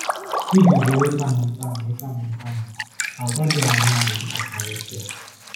Iji zere ịtamu ntamu ịtamu ntamu, àgwà dị aṅaa dị mkpa karịsịa?